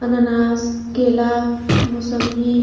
अनानास केला मुसम्मी --